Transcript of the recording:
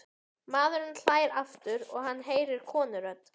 Maðurinn hlær aftur og hann heyrir konurödd.